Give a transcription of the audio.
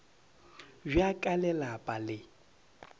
bja ka le lapa le